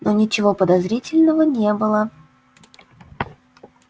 но ничего подозрительного не было